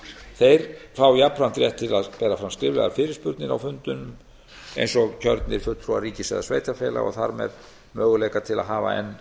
þeir fá jafnframt rétt til að bera fram skriflegar fyrirspurnir á fundinum eins og kjörnir fulltrúar ríkis eða sveitarfélaga og þar með möguleika til að hafa enn